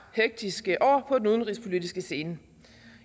hektiske år på den udenrigspolitiske scene